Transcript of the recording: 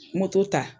Moto ta